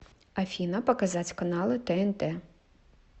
афина показать каналы тнт